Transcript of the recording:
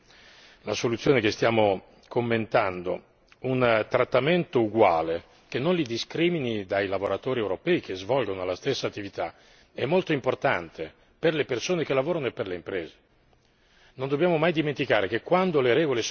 Allora, avere per queste persone, come definisce la soluzione che stiamo commentando, un trattamento uguale, che non li discrimini dai lavoratori europei che svolgono la stessa attività, è molto importante per le persone che lavorano e per le imprese.